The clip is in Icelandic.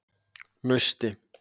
Nausti